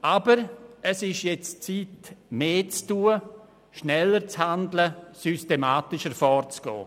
Aber nun ist es an der Zeit, mehr zu tun, schneller zu handeln und systematischer vorzugehen.